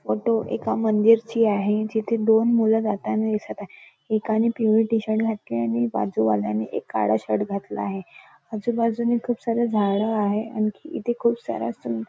photo एका मंदिरची आहे जिथ दोन मुल जाताना दिसत आहे एकाने पिवळे टी-शर्ट घातले आहे आणि बाजूवाल्याने एक काळा शर्ट घातला आहे आजूबाजूने खुप सारे झाडे आहेत आणि आणखी इथ खुप साऱ्या सुं--